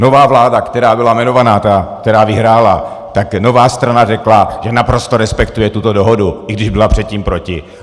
Nová vláda, která byla jmenovaná, ta, která vyhrála, tak nová strana řekla, že naprosto respektuje tuto dohodu, i když byla předtím proti.